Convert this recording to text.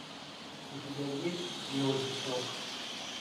у тебя есть белый песок